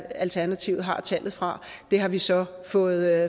alternativet har tallet fra det har vi så fået